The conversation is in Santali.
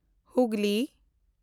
ᱦᱩᱜᱽᱞᱤ